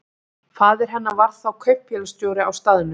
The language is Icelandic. Faðir hennar var þá kaupfélagsstjóri á staðnum.